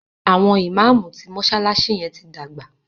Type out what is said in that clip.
àwọn imam tí mọsalasi yén tí dàgbà.